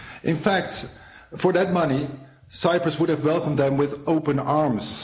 In fact, for that money, Cyprus would have welcomed them with open arms.